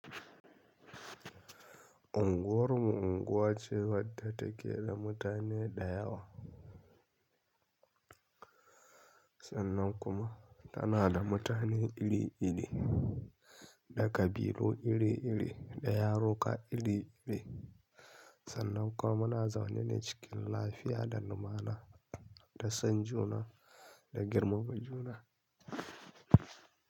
Unguwar mu unguwa ce wadda take da mutane da yawa, sannan kuma tana da mutane iri iri, da ƙabilu iri iri, da yaruka iri iri, sannan kuma muna zaune ne cikin lafiya da lumana, da son juna da girmama juna.